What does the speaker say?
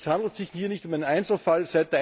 Es handelt sich hier nicht um einen Einzelfall.